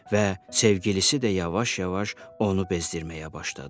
və sevgilisi də yavaş-yavaş onu bezdirməyə başladı.